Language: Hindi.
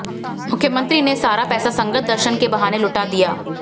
मुख्यमंत्री ने सारा पैसा संगत दर्शन के बहाने लुटा दिया